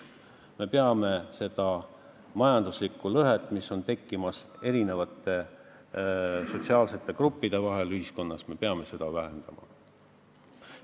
Me peame seda majanduslikku lõhet ühiskonnas, mis on tekkimas eri sotsiaalsete gruppide vahel, vähendama.